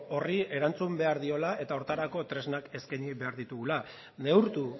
horri erantzun behar diola eta horretarako tresnak eskaini behar ditugula neurtu